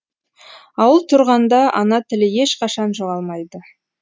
ауыл тұрғанда ана тілі ешқашан жоғалмайды